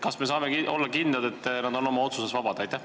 Kas me saame olla kindlad, et nad on oma otsuses vabad?